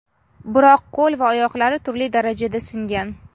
biroq qo‘l va oyoqlari turli darajada singan.